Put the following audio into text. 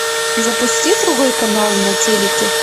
запусти другой канал на телике